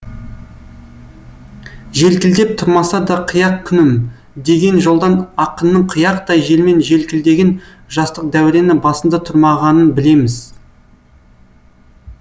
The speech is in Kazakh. желкілдеп тұрмаса да қияқ күнім деген жолдан ақынның қияқтай желмен желкілдеген жастық дәурені басында тұрмағанын білеміз